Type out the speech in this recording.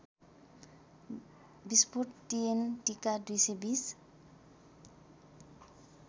विस्फोट टिएनटिका २२०